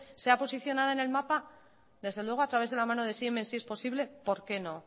sea posicionado en el mapa desde luego a través de la mano de siemens si es posible por qué no